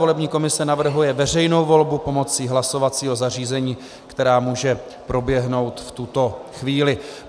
Volební komise navrhuje veřejnou volbu pomocí hlasovacího zařízení, která může proběhnout v tuto chvíli.